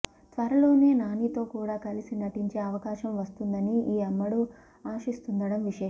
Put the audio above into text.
త్వరలోనే నానితో కూడా కలిసి నటించే అవకాశం వస్తుందని ఈ అమ్మడు ఆశిస్తుండడం విశేషం